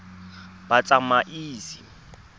batsamaisi